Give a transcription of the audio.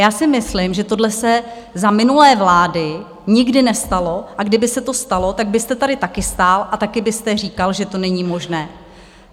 Já si myslím, že tohle se za minulé vlády nikdy nestalo, a kdyby se to stalo, tak byste tady také stál a také byste říkal, že to není možné.